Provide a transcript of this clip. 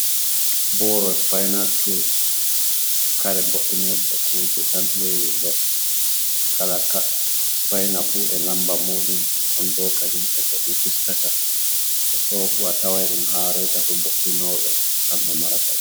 Boro supynal tuls, kare boinirɗe kuje tan hewi nder, kala kat supynal fu e lamba muɗum ɗon bo kadi e kon fistata, ɗofu a tawan ɗum ha reitafu bo’’inoɓe kamɓe marata.